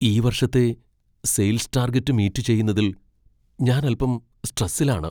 ഈ വർഷത്തെ sales target meet ചെയ്യുന്നതിൽ ഞാൻ അൽപ്പം സ്ട്രസിൽ ആണ്.